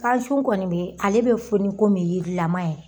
Gan sun kɔni bɛ ale bɛ foni komi yirilama yɛrɛ